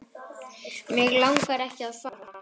Mig langaði ekki að fara.